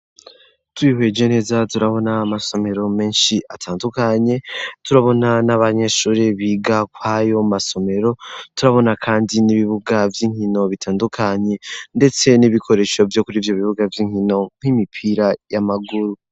Tubihweje neza turabona amasomero menshi atandukanye turabona n'abanyeshuri biga kwayo masomero turabona, kandi n'ibibuga vy'inkino bitandukanye, ndetse n'ibikoresho vyo kuri vyo bibuga vy'inkino nk'imipira y'amaguru.